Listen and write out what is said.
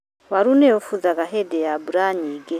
Waru nĩ ũbuthaga hĩndĩ ya mbura nyingĩ.